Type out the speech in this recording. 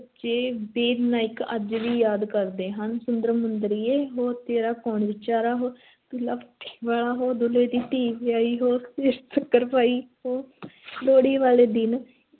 ਬੱਚੇ ਬੀਰ-ਨਾਇਕ ਅੱਜ ਵੀ ਯਾਦ ਕਰਦੇ ਹਨ ਸੁੰਦਰ-ਮੁੰਦਰੀਏ ਹੋ, ਤੇਰਾ ਕੌਣ ਵਿਚਾਰਾ ਹੋ, ਦੁੱਲਾ ਭੱਟੀ ਵਾਲਾ ਹੋ, ਦੁੱਲੇ ਦੀ ਧੀ ਵਿਆਹੀ ਹੋ ਸੇਰ ਸ਼ੱਕਰ ਪਾਈ ਹੋ ਲੋਹੜੀ ਵਾਲੇ ਦਿਨ